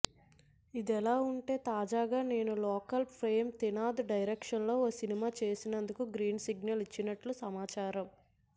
ఇదిలా ఉంటె తాజాగా నేను లోకల్ ఫేమ్ త్రినాధ్ డైరెక్షన్లో ఓ సినిమా చేసేందుకు గ్రీన్ సిగ్నల్ ఇచ్చినట్లు సమాచారం